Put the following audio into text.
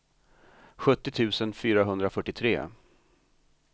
sjuttio tusen fyrahundrafyrtiotre